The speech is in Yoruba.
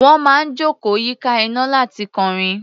Wọ́n máa ń jókòó yíká iná láti kọrin.